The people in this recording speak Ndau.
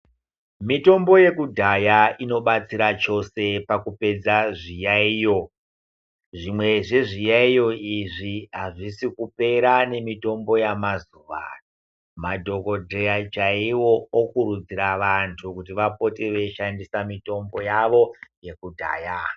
Mitombo yekudhaya inobatsira chose pakupedza zviyayiyo, zvimwe zvezviyayiyo izvi hazvisi kupera nemitombo yemazuwaano, madhokodheya chaiwo okurudzira vantu kuti vapote veyi shandisa mitombo yavo yekudhaya.